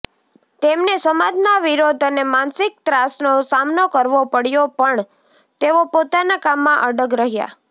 તેમને સમાજના વિરોધ અને માનસિક ત્રાસનો સામનો કરવો પડ્યો પણ તેઓ પોતાના કામમાં અડગ રહ્યાં